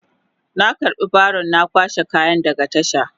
Na karba baron na kwashe kaya daga tasha.